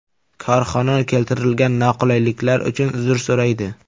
Korxona keltirilgan noqulayliklar uchun uzr so‘raydi.